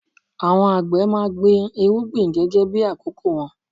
Àwọn àgbẹ̀ máa gbin irúgbìn gẹ́gẹ́ bí àkókò wọn.